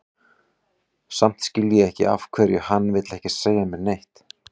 Samt skil ég ekki af hverju hann vill ekki segja mér neitt.